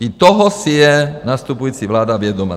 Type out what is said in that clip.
I toho si je nastupující vláda vědoma.